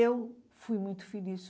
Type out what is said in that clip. E eu fui muito feliz.